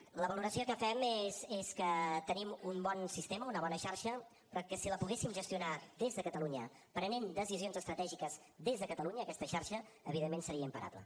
la valoració que fem és que tenim un bon sistema una bona xarxa però que si la poguéssim gestionar des de catalunya prenent decisions estratègiques des de catalunya aquesta xarxa evidentment seria imparable